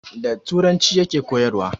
Da turanci ya ke koyarwa